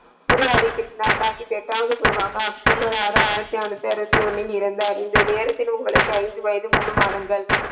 குரு ஹரி கிருஷ்ணா சாகிப்பின் எட்டாவது குரு ஆவார் அக்டோபர் ஆறு ஆயிரத்தி நானூற்றி அறுபத்தி ஒன்று இறந்தார் இந்த நேரத்தில் உங்களுக்கு ஐந்து வயது மூன்று மாதங்கள்.